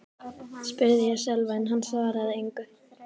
spurði ég Sölva en hann svaraði engu.